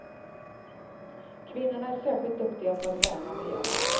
Kvinnorna är särskilt duktiga på att värna miljön.